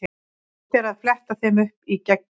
Hægt er að fletta þeim upp í Gegni.